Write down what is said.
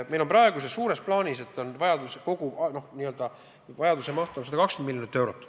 Meil on praegu suures plaanis kogu vajaduse maht 120 miljonit eurot.